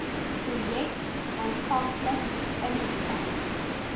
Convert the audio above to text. projek aanvanklik ingestel